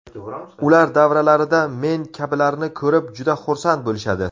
Ular davralarida men kabilarni ko‘rib, juda xursand bo‘lishadi.